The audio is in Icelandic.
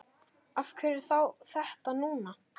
Af hverju þá þetta núna?